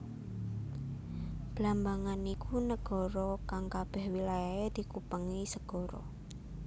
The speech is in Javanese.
Blambangan iku negara kang kabeh wilayahe dikupengi segara